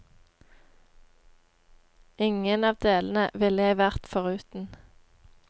Ingen av delene ville jeg vært foruten.